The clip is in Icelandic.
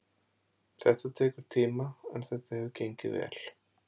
Þetta tekur tíma en þetta hefur gengið vel.